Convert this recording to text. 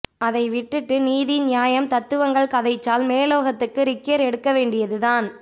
அதை விட்டுட்டு நீதி நியாயம் தத்துவங்கள் கதைச்சால் மேலோகத்துக்கு ரிக்கற் எடுக்கவேண்டியது தான்